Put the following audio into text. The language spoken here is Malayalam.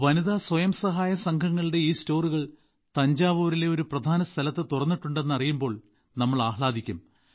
വനിതാ സ്വയം സഹായ സംഘങ്ങളുടെ ഈ സ്റ്റോറുകൾ തഞ്ചാവൂരിലെ ഒരു പ്രധാന സ്ഥലത്ത് തുറന്നിട്ടുണ്ടെന്ന് അറിയുമ്പോൾ നമ്മൾ ആഹ്ളാദിക്കും